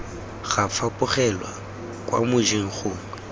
ga fapogelwa kwa mojeng gongwe